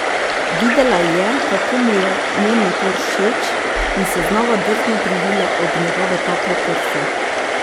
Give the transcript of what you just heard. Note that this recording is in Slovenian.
Videla je, kako mu je njen napor všeč, in se znova drzno privila ob njegove tople prsi.